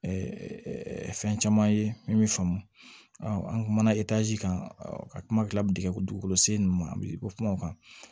fɛn caman ye min bɛ faamu an kumana kan ka kuma kila min tɛ kɛ ko dugukolo sen ma bɛ kuma o kan